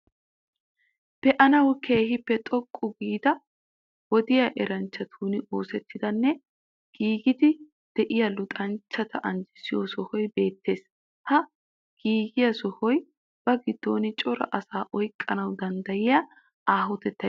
Be'anawu keehippe xoqqa gidida wodiya eranchchatun oosettiiddinne giigiiddi de'iya luxanichchata anjjissiyo sohoy beettees. Ha giigiya sohoy ba giddon cora asaa oyiqqanawu daniddayiya aahotettayi de'ees.